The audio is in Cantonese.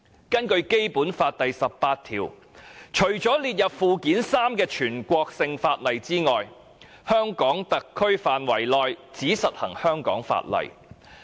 根據《基本法》第十八條，除了列於附件三的全國性法律外，在香港特區範圍內只實行香港法例。